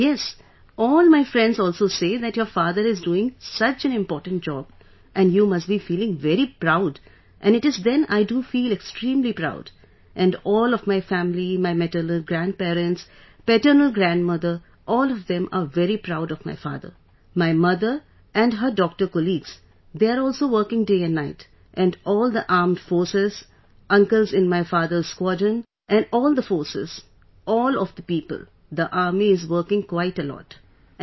Yes, all my friends also say that your father is doing such an important job and you must be feeling very proud and it is then I do feel extremely proud and all of my family, my maternal grandparents, paternal grandmother, all of them are very proud of my father... my mother and her doctor colleagues they are also working day and night... and all the Armed Forces, uncles in my father's squadron, and all the forces, all of the people, the army is working quite a lot...